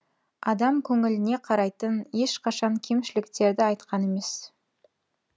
адам көңіліне қарайтын ешқашан кемшіліктерді айтқан емес